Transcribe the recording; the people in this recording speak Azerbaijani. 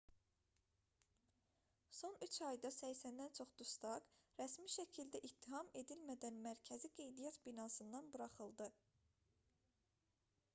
son 3 ayda 80-dən çox dustaq rəsmi şəkildə ittiham edilmədən mərkəzi qeydiyyat binasından buraxıldı